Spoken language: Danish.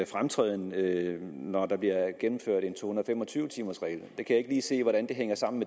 fremtræden når der bliver gennemført en to hundrede og fem og tyve timers regel jeg kan ikke se hvordan det hænger sammen